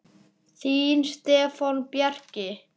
Þinn Stefán Bjarki.